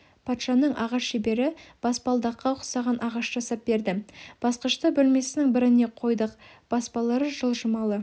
патшаның ағаш шебері баспалдаққа ұқсаған ағаш жасап берді басқышты бөлмесінің біріне қойдық баспалары жылжымалы